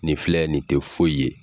Nin filɛ, nin tɛ foyi ye!